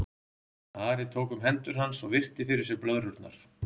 Ari tók um hendur hans og virti fyrir sér blöðrurnar.